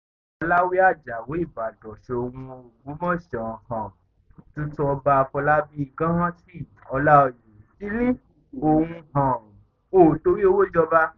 nínú ọ̀rọ̀ àkóso rẹ̀ soun ní àfojúsùn òun ni láti fi ìlú ògbómọṣọ sí ààyè àtàtà tó yé e